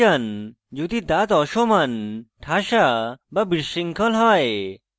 যদি দাঁত অসমান ঠাসা বা বিশৃঙ্খল হয়